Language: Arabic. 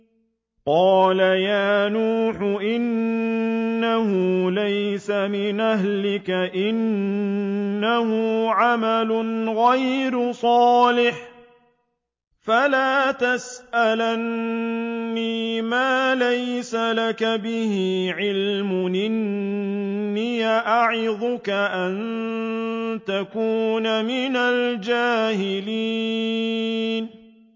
قَالَ يَا نُوحُ إِنَّهُ لَيْسَ مِنْ أَهْلِكَ ۖ إِنَّهُ عَمَلٌ غَيْرُ صَالِحٍ ۖ فَلَا تَسْأَلْنِ مَا لَيْسَ لَكَ بِهِ عِلْمٌ ۖ إِنِّي أَعِظُكَ أَن تَكُونَ مِنَ الْجَاهِلِينَ